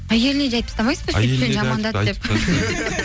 әйеліне де айтып тастамайсыз ба сөйтіп сені жамандады деп